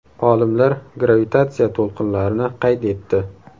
Olimlar gravitatsiya to‘lqinlarini qayd etdi.